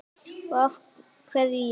Og af hverju ég?